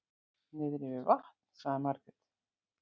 Niðri við vatn, sagði Margrét.